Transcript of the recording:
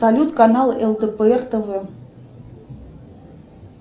салют канал лдпр тв